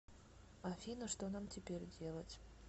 афина что нам теперь делать